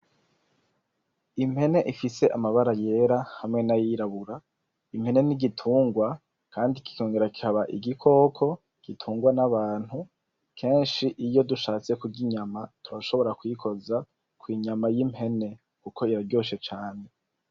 Impene ifise amabara yera hamwe n'ayirabura. Impene ni igitungwa kandi kikongera kikaba igikoko gitungwa n'abantu, kenshi iyo dushatse kurya inyama turashobora kuyikoza ku nyama y'impene kuko biraryoshe cane.